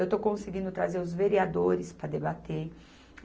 Eu estou conseguindo trazer os vereadores para debater.